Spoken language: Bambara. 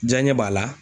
Diɲɛ ɲɛ b'a la